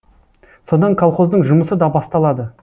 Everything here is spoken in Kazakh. содан колхоздың жұмысы да басталады